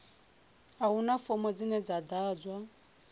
a huna fomo dzine dza ḓadzwa